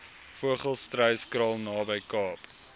vogelstruyskraal naby kaap